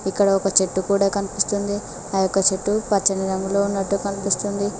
ఇక్కడ ఒక చెట్టు కూడా కనిపిస్తుంది ఆ యొక్క చెట్టు పచ్చని రంగులో ఉన్నట్టు కనిపిస్తుంది.